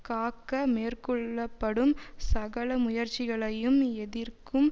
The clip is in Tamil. காக்க மேற்கொள்ள படும் சகல முயற்சிகளையும் எதிர்க்கும்